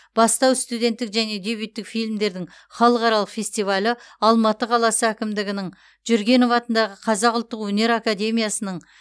бастау студенттік және дебюттік фильмдердің халықаралық фестивалі алматы қаласы әкімдігінің жүргенов атындағы қазақ ұлттық өнер академиясының